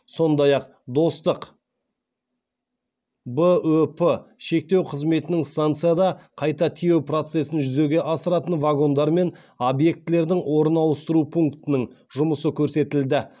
сапар барысында қатысушыларға қазақстан қытай шекарасы арқылы өтетін және кесте бойынша келген екі пойызда контейнерлерді қайта тиеу жүктерді қабылдау және жөнелту процесі көрсетілді